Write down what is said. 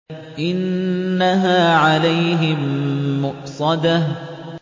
إِنَّهَا عَلَيْهِم مُّؤْصَدَةٌ